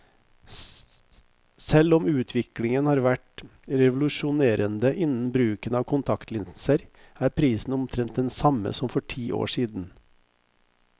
Selv om utviklingen har vært revolusjonerende innen bruken av kontaktlinser, er prisen omtrent den samme som for ti år siden.